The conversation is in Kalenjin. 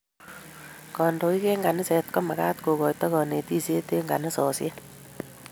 kandoik ab kanisa ko magat kokoito kanetishet eng kanisoshek